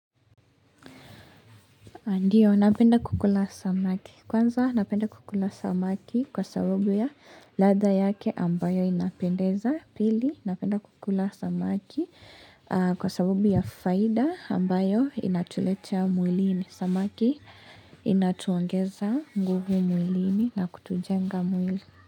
Ndiyo napenda kukula samaki kwanza napenda kukula samaki kwa sababu ya latha yake ambayo inapendeza pili napenda kukula samaki aah kwa sababu ya faida ambayo inatuletea mwilini samaki inatuongeza nguvu mwilini na kutujenga mwili.